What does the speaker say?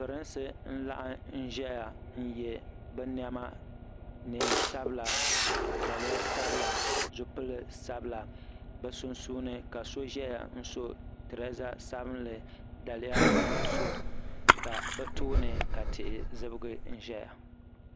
Pirinsi n-laɣim n-ʒeya n-ye bɛ nɛma neen'sabila daliya sabila zipili sabila bɛ sunsuuni ka so ʒeya n-so tireeza sabinli daliya nuɣuso ka bɛ tooni ka tihi zibigi ʒeya.